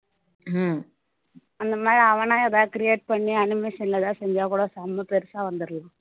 அந்த மாதிரி அவனா create பண்ணி animation ல எதாவது செஞ்சா கூட செம பெருசா வந்துடலாம்.